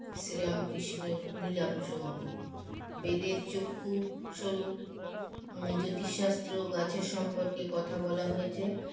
শ্রীরামকৃষ্ণর লীলা প্রসঙ্গ বেদের চক্ষু সরূপ জ্যোতিষশাস্ত্র ও গাছের সম্পর্কে কথা বলা হয়েছে